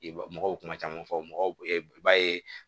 I b'a mɔgɔw kuma caman fɔ mɔgɔw ye